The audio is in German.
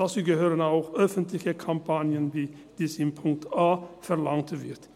Dazu gehören auch öffentliche Kampagnen wie dies in Punkt a verlangt wird.